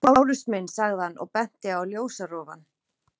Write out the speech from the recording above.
Lárus minn, sagði hann og benti á ljósarofann.